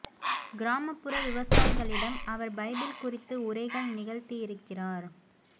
கிராமப்புற விவசாயிகளிடம் அவர் பைபிள் குறித்து உரைகள் நிகழ்த்தியிருக்கிறார்